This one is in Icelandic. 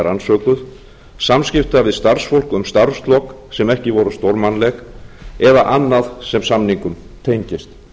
rannsökuð samskipti við starfsfólk um starfslok sem ekki voru stórmannleg eða annað sem samningum tengist